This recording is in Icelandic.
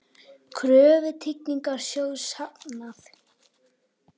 Kröfu Tryggingasjóðs hafnað